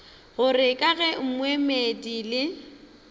gore ka ge moemedi le